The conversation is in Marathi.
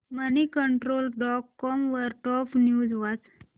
मनीकंट्रोल डॉट कॉम वरील टॉप न्यूज वाच